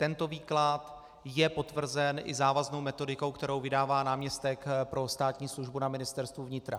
Tento výklad je potvrzen i závaznou metodikou, kterou vydává náměstek pro státní službu na Ministerstvu vnitra.